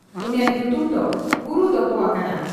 ᱩᱱᱤᱭᱟᱜ ᱧᱩᱛᱩᱢ ᱫᱚ 'ᱜᱩᱨᱩ' ᱫᱚᱦᱚ ᱟᱠᱟᱱᱟ ᱾